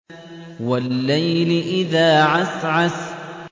وَاللَّيْلِ إِذَا عَسْعَسَ